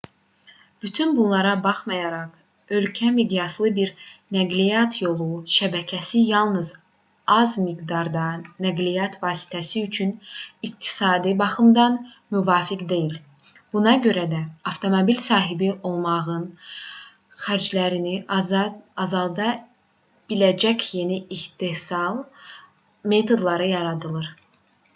bütün bunlara baxmayaraq ölkə miqyaslı bir nəqliyyat yolu şəbəkəsi yalnız az miqdarda nəqliyyat vasitəsi üçün iqtisadi baxımdan müvafiq deyil buna görə də avtomobil sahibi olmağın xərclərini azalda biləcək yeni istehsal metodları yaradılır